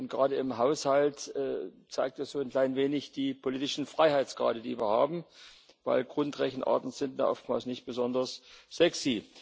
Gerade im Haushalt zeigt das so ein klein wenig die politischen Freiheitsgrade, die wir haben, denn Grundrechenarten sind da oftmals nicht besonders sexy.